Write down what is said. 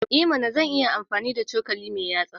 I mana! Zan iya amfani da cokali mai yatsa.